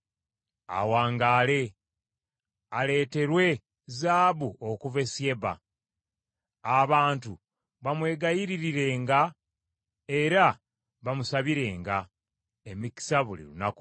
Awangaale! Aleeterwe zaabu okuva e Syeba. Abantu bamwegayiririrenga era bamusabirenga emikisa buli lunaku.